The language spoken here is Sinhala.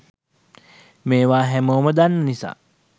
මේවා හැමෝම දන්න නිසා